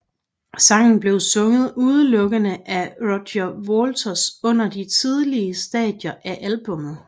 Sangen blev sunget udelukkende af Roger Waters under de tidlige stadier af albummet